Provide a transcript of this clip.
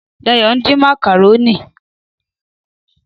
Dáyọ̀ ń din màkàrónì.